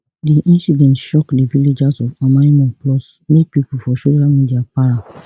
di incident shock di villagers of amaimo plus make pipo for social media para